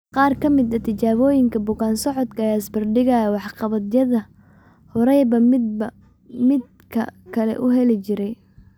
Qaar ka mid ah tijaabooyinka bukaan-socodka ayaa isbarbar dhigaya waxqabadyada horayba midba midka kale u heli jiray.